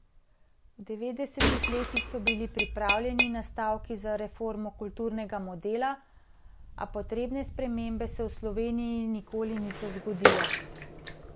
V devetdesetih letih so bili pripravljeni nastavki za reformo kulturnega modela, a potrebne spremembe se v Sloveniji nikoli niso zgodile.